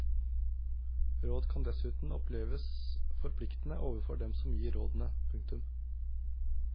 Råd kan dessuten oppleves forpliktende overfor dem som gir rådene. punktum